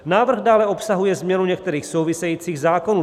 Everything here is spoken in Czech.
Návrh dále obsahuje změnu některých souvisejících zákonů.